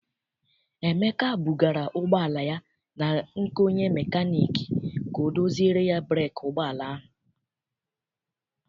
Emeka bugara ụgbọala ya na nke onye mekaniiki ka ọ doziere ya breeki ụgbọala ahụ.